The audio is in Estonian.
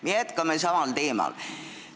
Me jätkame samal teemal.